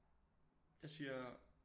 Jeg siger